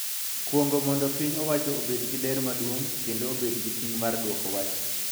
Kuong�o mondo piny owacho obed gi ler maduong� kendo obed gi ting� mar dwoko wach.